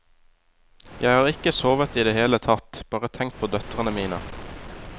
Jeg har ikke sovet i det hele tatt, bare tenkt på døtrene mine.